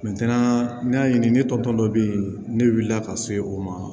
n y'a ɲini ne tɔ dɔ be yen ne wulila ka se o ma